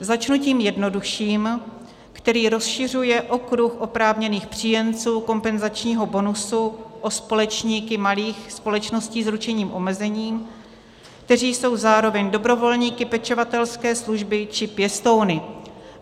Začnu tím jednodušším, který rozšiřuje okruh oprávněných příjemců kompenzačního bonusu o společníky malých společností s ručených omezeným, kteří jsou zároveň dobrovolníky pečovatelské služby či pěstouny.